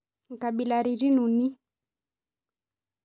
Nkabilaritin uni.